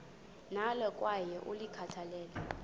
nalo kwaye ulikhathalele